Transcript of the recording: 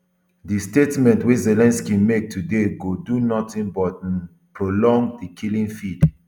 di statement wey zelensky make today go do nothing but um prolong di killing field